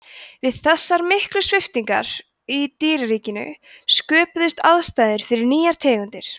við þessar miklu sviptingar í dýraríkinu sköpuðust aðstæður fyrir nýjar tegundir